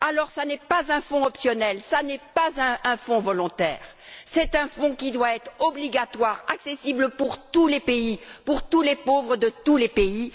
Ce n'est pas un fonds optionnel, ce n'est pas un fonds volontaire, c'est un fonds qui doit être obligatoire, accessible à tous les pays, à tous les pauvres de tous les pays.